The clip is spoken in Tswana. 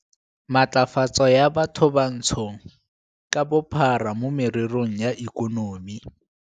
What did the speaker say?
Matlafatso ya Bathobantsho ka Bophara mo Mererong ya Ikonomi